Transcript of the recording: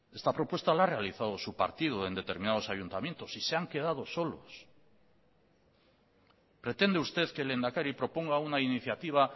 esta propuesta la ha realizado su partido en determinados ayuntamientos y se han quedado solos pretende usted que el lehendakari proponga una iniciativa